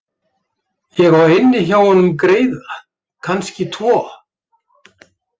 Ég á inni hjá honum greiða, kannski tvo.